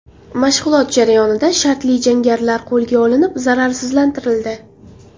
Mashg‘ulot jarayonida shartli jangarilar qo‘lga olinib, zararsizlantirildi.